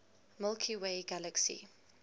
milky way galaxy